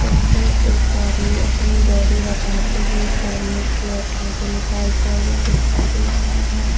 सामने एक आदमी अपनी बॉडी बताते हुए सामने की ओर फोटो निकालता हुआ दिखाई दे रहा है।